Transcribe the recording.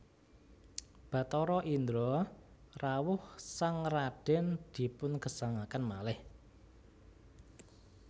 Bathara Indra rawuh sang radèn dipungesangaken malih